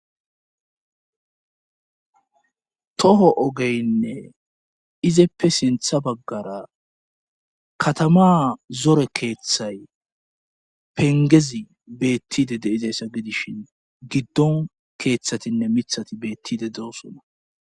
Toho ogeynne izeppe sintha baggara katama zore keeththay pengezi beettide deizayssa gidishin giddon keeththatinne mithati beettide dosona.